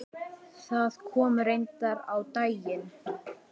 Það kom reyndar á daginn.